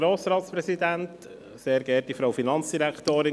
Kommissionspräsident der FiKo.